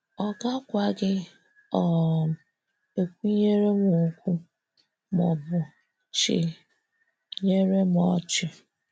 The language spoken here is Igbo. Ọ gakwaghị um ekwunyere m okwu maọbụ chi nyere m ọchị.